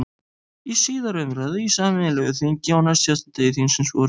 Í síðari umræðu í sameinu þingi, á næstsíðasta degi þingsins, vorið